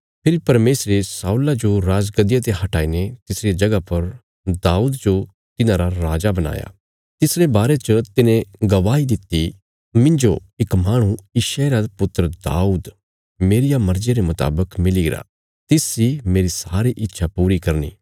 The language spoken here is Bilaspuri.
फेरी परमेशरे शाऊला जो राज गद्दिया ते हटाईने तिसरिया जगह पर दाऊद जो तिन्हांरा राजा बणाया तिसरे बारे च तिने गवाही दित्ति मिन्जो इक माहणु यिशै रा पुत्र दाऊद मेरिया मर्जिया रे मुतावक मिलीगरा तिस इ मेरी सारी इच्छा पूरी करनी